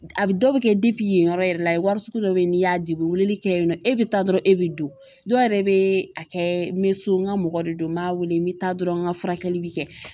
A bɛ dɔ bɛ kɛ yen yɔrɔ yɛrɛ wari sugu dɔ bɛ yen n'i y'a dege weleli kɛ yen nɔ e bɛ taa dɔrɔn e bɛ don dɔ yɛrɛ bɛ a kɛ n bɛ so n ka mɔgɔ de don n b'a wele n bɛ taa dɔrɔn n ka furakɛli bɛ kɛ